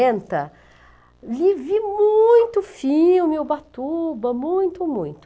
quarenta? Vi vi muito filme Ubatuba, muito, muito.